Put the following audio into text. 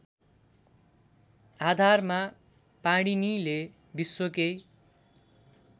आधारमा पाणिनीले विश्वकै